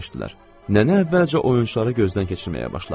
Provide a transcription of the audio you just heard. Nənə əvvəlcə oyunçuları gözdən keçirməyə başladı.